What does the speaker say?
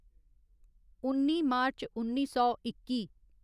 उन्नी मार्च उन्नी सौ इक्की